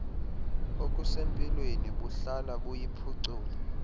okusempilweni buhlala buyiphucula